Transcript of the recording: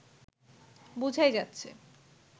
বোঝাই যাচ্ছে